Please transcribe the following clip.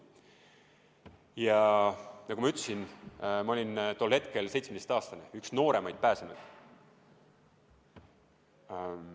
Ja nagu ma ütlesin, ma olin tol hetkel seitsmeteistkümneaastane, üks nooremaid pääsenuid.